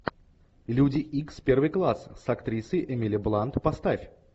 люди икс первый класс с актрисой эмили блант поставь